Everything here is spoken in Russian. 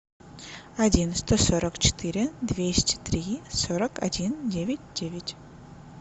один сто сорок четыре двести три сорок один девять девять